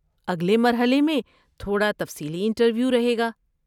اگلے مرحلے میں تھوڑا تفصیلی انٹرویو رہے گا۔